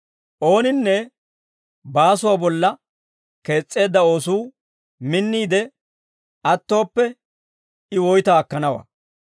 Ooninne baasuwaa bolla kees's'eedda oosuu minniide attooppe, I woytaa akkanawaa.